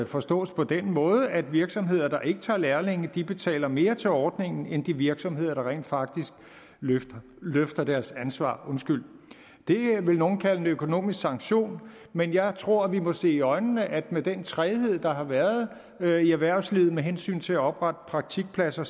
forstås på den måde at virksomheder der ikke tager lærlinge betaler mere til ordningen end de virksomheder der rent faktisk løfter løfter deres ansvar det vil nogle kalde en økonomisk sanktion men jeg tror at vi må se i øjnene at med den træghed der har været været i erhvervslivet med hensyn til at oprette praktikpladser